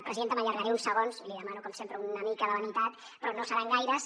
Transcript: presidenta m’allargaré uns segons i li demano com sempre una mica de lenitat però no seran gaires